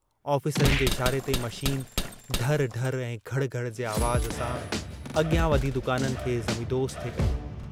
ऑफ़िसरनि जे इशारे ते मशीन ढर ढर ऐं घड़ घड़ जे आवाज़ सां अॻियां वधी दुकाननि खे ज़मीदोज़ थे कयो।